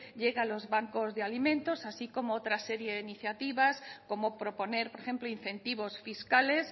llegue a los bancos de alimentos así como otra serie de iniciativa como proponer por ejemplo incentivos fiscales